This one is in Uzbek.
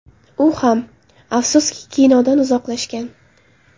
U ham, afsuski, kinodan uzoqlashgan.